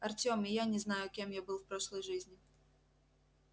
артем и я не знаю кем я был в прошлой жизни